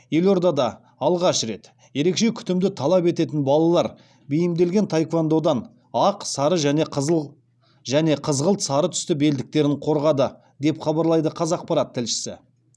елордада алғаш рет ерекше күтімді талап ететін балалар бейімделген таеквондодан ақ сары және қызғылт сары түсті белдіктерін қорғады деп хабарлайды қазақпарат тілшісі